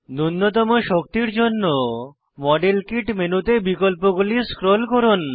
নুন্যতম শক্তির জন্য মডেল কিট মেনুতে বিকল্পগুলি স্ক্রোল করুন